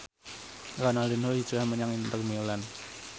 Ronaldinho hijrah menyang Inter Milan